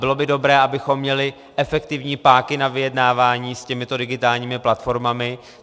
Bylo by dobré, abychom měli efektivní páky na vyjednávání s těmito digitálními platformami.